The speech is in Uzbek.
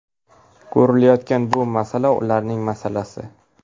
Ko‘rilayotgan bu masala ularning masalasi.